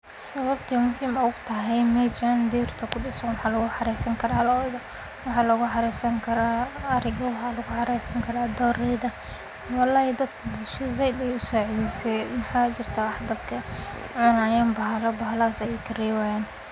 Sababta meshan ay u tahay berta kudisan waxa lagu xareysan kara Loda waxa lagu xareysan kara Ari, waxa lagu xareysan kara dorayda. Wallahi dadka bulshada zaid ayay usacideyneysa waxa jirta wax dadka cunayan bahala bahala haso o karebayan.